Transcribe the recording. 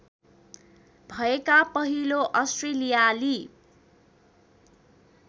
भएका पहिलो अस्ट्रेलियाली